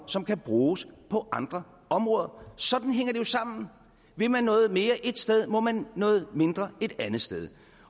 som kan bruges på andre områder sådan hænger det jo sammen vil man noget mere et sted må man noget mindre et andet sted